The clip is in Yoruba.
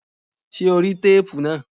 Ṣé o rí téépù náà?